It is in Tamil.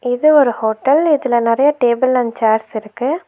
இது ஒரு ஹோட்டல் இதுல நெறய டேபிள் அண்ட் சேர்ஸ் இருக்கு.